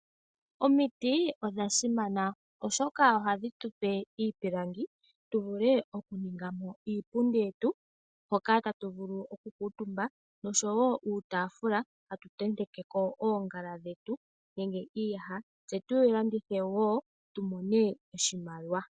Omiti odha simana oshoka ohadhi tupe iipilangi, tuvule okuningamo iipundi yetu moka tatu vulu okukuuntumba, noshowo uutaafula, hatu tentekeko oongala dhetu nenge iiyaha, tse tulandithe wo tumone oshimaliwa.